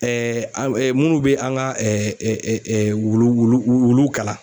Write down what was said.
minnu bɛ an ka wulu wulu wuluw kalan.